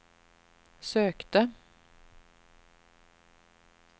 sökte